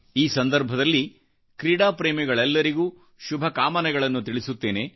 ಈ ಸಂದರ್ಭದಲ್ಲಿ ಕ್ರೀಡಾಪ್ರೇಮಿಗಳೆಲ್ಲರಿಗೂಶುಭಕಾಮನೆಗಳನ್ನು ತಿಳಿಸುತ್ತೇನೆ